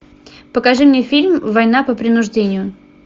покажи мне фильм война по принуждению